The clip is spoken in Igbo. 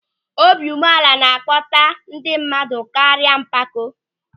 Obiụmeala na-akpọta ndị mmadụ karịa mpako.